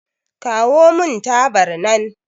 Kawo mun tabar nan